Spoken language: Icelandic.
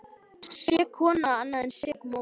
Sek kona annað en sek móðir.